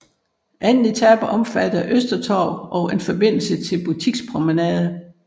Anden etape omfattede Øster Torv og en forbindende butikspromenade